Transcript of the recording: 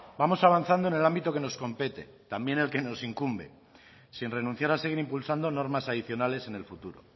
vamos avanzando en el ámbito que nos compete también el que nos incumbe sin renunciar a seguir impulsando normas adicionales en el futuro